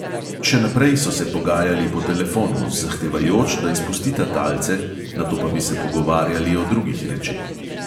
Še naprej so se pogajali po telefonu, zahtevajoč, da izpustita talce, nato pa bi se pogovarjali o drugih rečeh.